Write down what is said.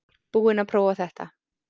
Búinn að prófa þetta